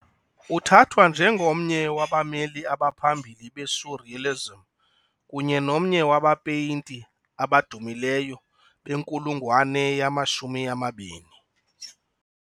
Uthathwa njengomnye wabameli abaphambili be-surrealism, kunye nomnye wabapeyinti abadumileyo benkulungwane yama-20.